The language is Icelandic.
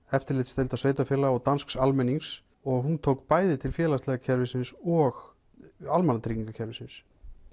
eftirlitsdeilda sveitarfélaga og dansk almennings og hún tók bæði til félagslega kerfisins og almannatryggingakerfisins